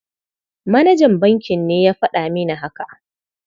Manajan bankin ne ya faɗa mini haka.